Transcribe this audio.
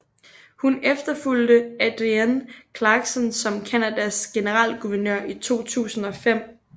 Hun efterfulgte Adrienne Clarkson som Canadas generalguvernør i 2005